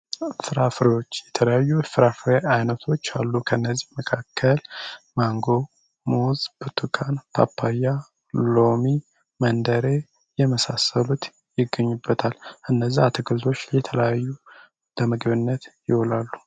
ፍራፍሬዎች የተለያዩ የፍራፍሬ አይነቶች አሉ ከእነዚህ መካከል ማንጎ ሙዝ ብርቱካን ፓፓያ ሎሚ መንደሬ ው የመሳሰሉ ይገኙበታል። እነዚህ አትክልቶች ለምግብነት ይውላሉ።